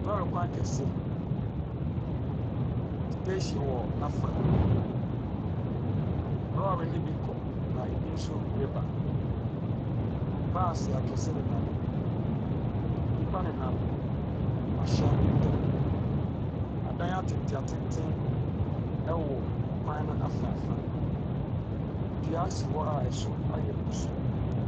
Lɔɔre kwan kɛseɛ, station wɔ n'afa, lɔɔre no bi kɔ, na ebi nso reba. Baase akɛse nenam mu. Nnipa nenam ahyɛn no ntam. Adan atenten atenten wɔ ɔkwan no afa afa. Dua si hɔ a ɛso ayɛ kusuu.